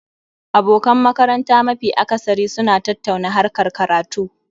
Abokan makaranta mafi akasari suna tattauna harkar karatu